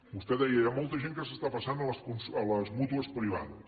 vostè deia hi ha molta gent que s’està passant a les mútues privades